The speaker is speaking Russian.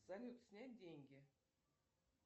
салют снять деньги